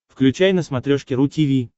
включай на смотрешке ру ти ви